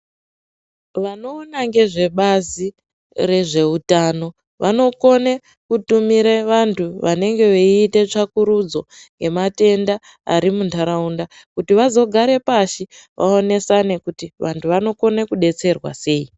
Vanoona nezvebazi rezveutano, vanokone kutumire vanhu vanenge veiite tsvakurudzo yematenda ari muntaraunda, kuti vazogare pashi, vaonesane kuti vantu vanokone kudetserwa sei.